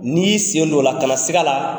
N'i y'i sen don o la, kana sig'a la.